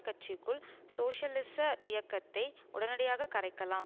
கட்சிக்குள் சோசியலிச இயக்கத்தை உடனடியாக கரைக்கலாம்